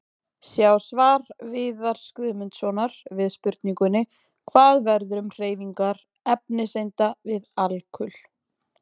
Sjá svar Viðars Guðmundssonar við spurningunni: Hvað verður um hreyfingar efniseinda við alkul?